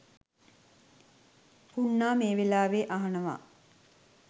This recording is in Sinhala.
පුණ්ණා මේ වෙලාවෙ අහනව